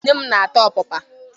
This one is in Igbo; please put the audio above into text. Nne m na-ata ọpapa.